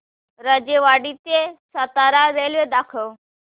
राजेवाडी ते सातारा रेल्वे दाखव